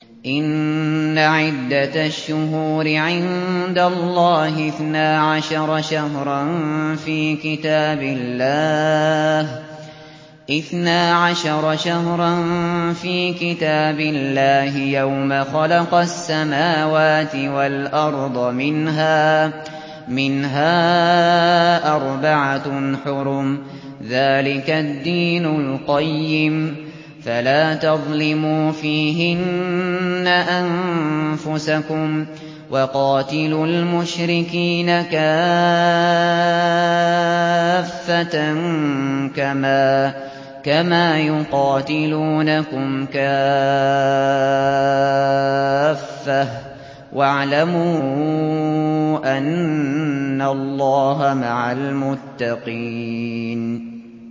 إِنَّ عِدَّةَ الشُّهُورِ عِندَ اللَّهِ اثْنَا عَشَرَ شَهْرًا فِي كِتَابِ اللَّهِ يَوْمَ خَلَقَ السَّمَاوَاتِ وَالْأَرْضَ مِنْهَا أَرْبَعَةٌ حُرُمٌ ۚ ذَٰلِكَ الدِّينُ الْقَيِّمُ ۚ فَلَا تَظْلِمُوا فِيهِنَّ أَنفُسَكُمْ ۚ وَقَاتِلُوا الْمُشْرِكِينَ كَافَّةً كَمَا يُقَاتِلُونَكُمْ كَافَّةً ۚ وَاعْلَمُوا أَنَّ اللَّهَ مَعَ الْمُتَّقِينَ